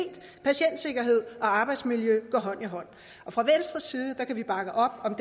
patientsikkerhed og arbejdsmiljø går hånd i hånd fra venstres side kan vi bakke op om